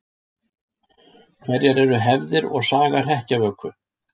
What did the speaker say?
Hverjar eru hefðir og saga hrekkjavöku?